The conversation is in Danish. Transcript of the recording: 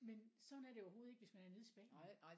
Men sådan er det overhovedet ikke hvis man var nede i Spanien